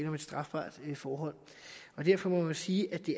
om et strafbart forhold derfor må man sige at det